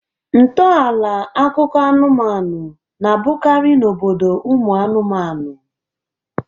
Ntọala akụkọ anụmanụ na-abụkarị n'obodo ụmụ anụmanụ